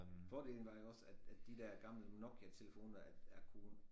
Fordelen var jo også at at de der gamle Nokiatelefoner at er kunne